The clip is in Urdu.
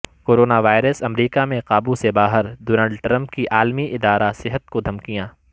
کرونا وائرس امریکا میں قابو سے باہر ڈونلڈ ٹرمپ کی عالمی ادارہ صحت کو دھمکیاں